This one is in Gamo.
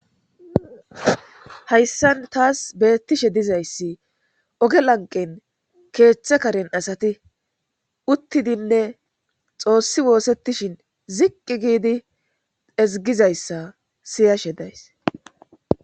hayssan taas beettishe dizayssi oge lanqen keeththe karen asati uttidinne xoossi woossettishin ziqqi giidi ezigizayssa siyashe days